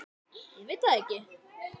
Ég veit það ekki